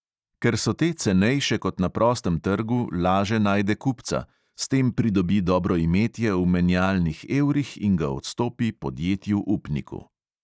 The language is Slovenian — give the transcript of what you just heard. Ker so te cenejše kot na prostem trgu, laže najde kupca, s tem pridobi dobroimetje v menjalnih evrih in ga odstopi podjetju upniku.